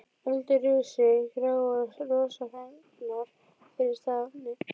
Öldur risu gráar og rosafengnar fyrir stafni.